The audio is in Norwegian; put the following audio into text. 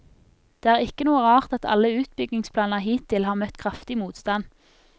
Det er ikke noe rart at alle utbyggingsplaner hittil har møtt kraftig motstand.